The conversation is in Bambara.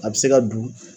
A bɛ se ka don